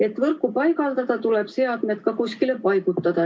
Et võrku paigaldada, tuleb seadmed ka kuskile paigutada.